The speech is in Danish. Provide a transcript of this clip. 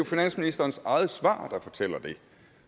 finansministerens eget svar der fortæller det